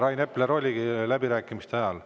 Rain Epler oligi läbirääkimiste ajal.